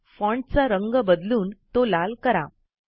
फाँटचा रंग बदलून तो लाल करा